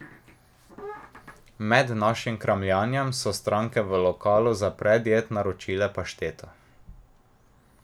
Med našim kramljanjem so stranke v lokalu za predjed naročile pašteto.